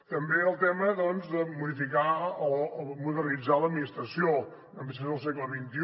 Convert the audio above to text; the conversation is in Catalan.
també el tema de modificar o modernitzar l’administració una administració del segle xxi